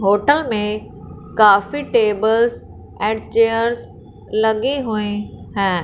Photo में काफी tables and chairs लगे हुए हैं।